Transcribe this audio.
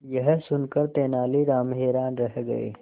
यह सुनकर तेनालीराम हैरान रह गए